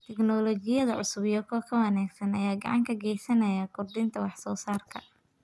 Tignoolajiyada cusub iyo kuwa ka wanaagsan ayaa gacan ka geysanaya kordhinta wax soo saarka.